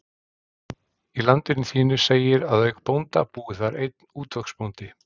Í Landinu þínu segir að auk bónda búi þar einn útvegsbóndi.